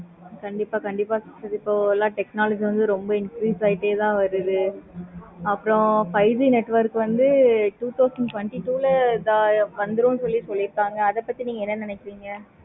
கண்டிப்பா கண்டிப்பா sister இப்போ எல்லா technology ளையும் எல்லா influence ஆகிகிட்டே தான் வருது. அப்பறம் five G network வந்து two thousand twenty two ல வந்துரும் சொல்லி சொல்லிருக்காங்க. அத பத்தி நீங்க என்ன நினைக்கிறீங்க